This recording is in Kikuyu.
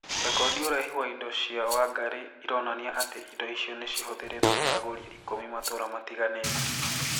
Rekodi urehi wa indo cia Wangarĩ ĩronania atĩ indo icio nĩ cihũthĩrĩtwo nĩ agũrĩ ikũmi matũra matiganĩte.